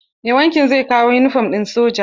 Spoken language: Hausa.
Mai wankin zai kawo yunifom ɗin sojan.